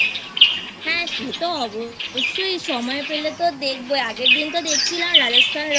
হ্যাঁ সে তো অবশ্যই সেই সময় পেলে তো দেখবোই I আগের দিন তো দেখছিলাম Rajasthan Royals Rajasthan Royals